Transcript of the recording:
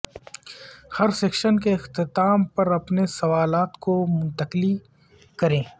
ہر section کے اختتام پر اپنے سوالات کو منتقلی کریں